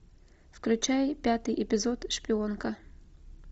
включай пятый эпизод шпионка